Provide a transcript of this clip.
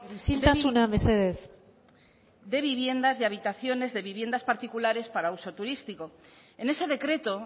isiltasuna mesedez de viviendas y habitaciones de viviendas particulares para uso turístico en ese decreto